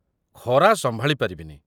ଖରା ସମ୍ଭାଳି ପାରିବିନି।